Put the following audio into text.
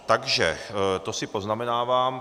Takže to si poznamenávám.